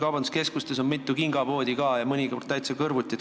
Kaubanduskeskustes on mitu kingapoodi ka ja mõnikord täitsa kõrvuti.